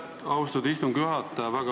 Aitäh, austatud istungi juhataja!